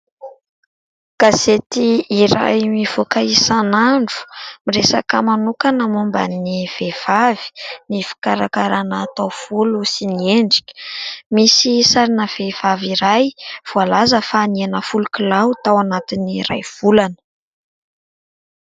Gazety iray mivoka isanandro miresaka manokana momban'ny vehivavy ny fikarakarana taovolo sy ny endrika. Misy sarina vehivavy iray voalaza fa nihena folo kilao tao anatin'ny iray volana.